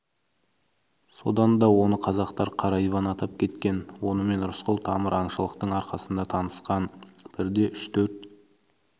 содан да оны қазақтар қара иван атап кеткен онымен рысқұл тамыр аңшылықтың арқасында танысқан бірде үш-төрт